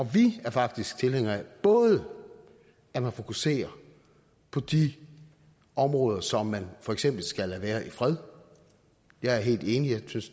vi er faktisk tilhængere af at man fokuserer på de områder som man for eksempel skal lade være i fred jeg er helt enig og jeg synes